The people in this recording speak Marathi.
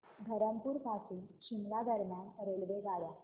धरमपुर पासून शिमला दरम्यान रेल्वेगाड्या